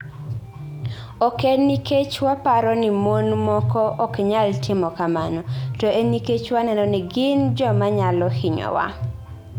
Ok en nikech waparo ni mon moko ok nyal timo kamano, to en nikech waneno ni gin joma nyalo hinyowa".